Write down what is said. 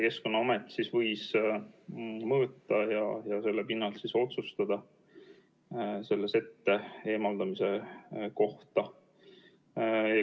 Keskkonnaamet võis siis mõõta ja selle pinnalt võtta vastu otsuse sette eemaldamise kohta.